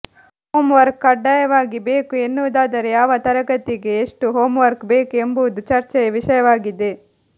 homework ಕಡ್ಡಾಯವಾಗಿ ಬೇಕು ಎನ್ನುವುದಾದರೆ ಯಾವ ತರಗತಿಗೆ ಎಷ್ಟು ಹೋಂವರ್ಕ್ ಬೇಕು ಎಂಬುದು ಚರ್ಚೆಯ ವಿಷಯವಾಗಿದೆ